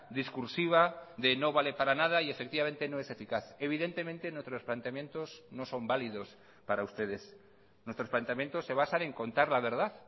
discursiva de no vale para nada y efectivamente no es eficaz evidentemente en otros planteamientos no son válidos para ustedes nuestros planteamientos se basan en contar la verdad